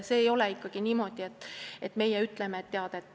Ei ole niimoodi, et meie ütleme.